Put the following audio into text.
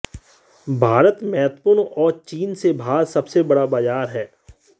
भारत महत्वपूर्ण और चीन से बाहर सबसे बड़ा बाजार है